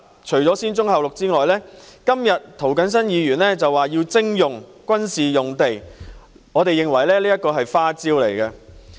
除了"先棕後綠"外，今天涂謹申議員提出要徵用軍事用地，我們認為這是一記"花招"。